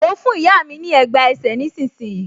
Mo fún ìyá mi ní ẹ̀gbá ẹsẹ̀ nísinsìnyí